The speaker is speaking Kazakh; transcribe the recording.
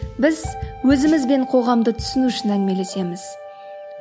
біз өзіміз бен қоғамды түсіну үшін әңгімелесеміз